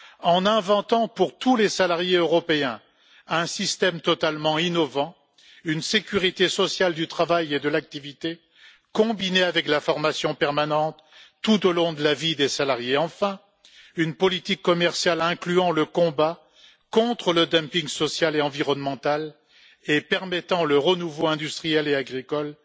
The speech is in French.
en inventant pour tous les salariés européens un système totalement innovant, une sécurité sociale du travail et de l'activité, combinée avec la formation permanente, tout au long de la vie des salariés, et, enfin, une politique commerciale incluant le combat contre le dumping social et environnemental et permettant le renouveau de l'industrie et de l'agriculture,